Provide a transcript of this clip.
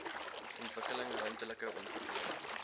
ontwikkeling ruimtelike ontwikkeling